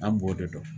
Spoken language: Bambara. An b'o de dɔn